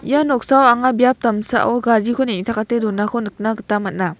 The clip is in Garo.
ia noksao anga biap damsao gariko neng·takate donako nikna gita man·a.